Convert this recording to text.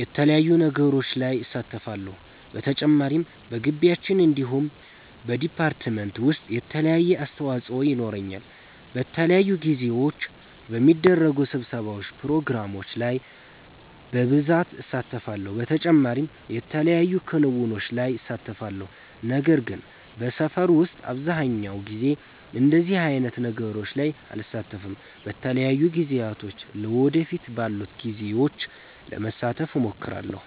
የተለያዩ ነገሮች ላይ እሳተፋለሁ። በተጨማሪም በጊቢያችን እንዲሁም በ ዲፓርትመንት ዉሰጥ የተለያየ አስተዋፆ የኖረኛል። በተለያዩ ጊዜዎች በሚደረጉ ስብሰባዎች ፕሮግራሞች ላይ በብሳት እሳተፋለሁ። በተጨማሪም የተለያዩ ክንዉኖች ላይ እሳተፋለሁ። ነገር ግን በሰፈር ዉስጥ አብዘሃኛዉ ጊዜ እንደዚህ አይነት ነገሮች ላይ አልሳተፍም። በተለያዩ ጊዜያቶች ለ ወደፊት ባሉት ጊዜዎች ለመሳተፍ እሞክራለሁ